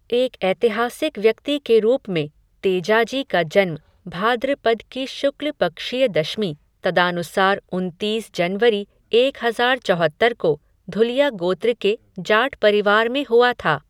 एक ऐतिहासिक व्यक्ति के रूप में, तेजाजी का जन्म, भाद्रपद की शुक्ल पक्षीय दशमी, तदानुसार उनतीस, जनवरी एक हजार चौहत्तर को, धुलिया गोत्र के जाट परिवार में हुआ था